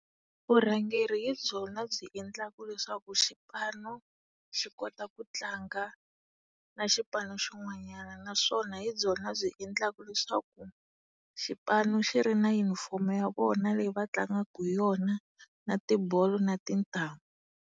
Vurhangeri hi byona byi endlaka leswaku xipano xi kota ku tlanga na xipano xin'wanyana, naswona hi byona byi endlaka leswaku xipano xi ri na yunifomu ya vona leyi va tlangaka hi yona na tibolo na tintangu.